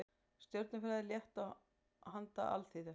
Stjörnufræði, létt og handa alþýðu.